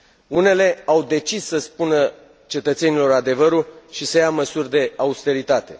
Unele au decis să spună cetățenilor adevărul și să ia măsuri de austeritate.